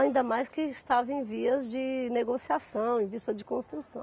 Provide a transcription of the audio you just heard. Ainda mais que estava em vias de negociação, em vista de construção.